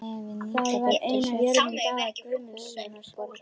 Það var ein af jörðum Daða Guðmundssonar.